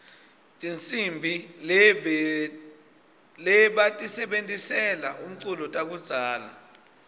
tihsimbi lebatisebentisela umculo takudzala